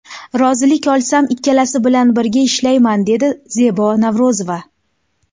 Rozilik olsam, ikkalasi bilan birga ishlayman”, dedi Zebo Navro‘zova.